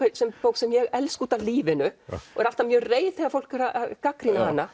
sem er bók sem ég elska út af lífinu og er alltaf mjög reið þegar fólk er að gagnrýna hana